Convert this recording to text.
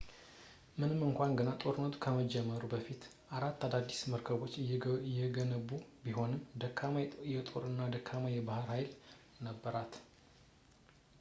ምንም እንኳን ገና ጦርነቱ ከመጀመሩ በፊት አራት አዳዲስ መርከቦችን የገነቡ ቢሆንም ደካማ ጦር እና ደካማ የባህር ኃይል ነበራት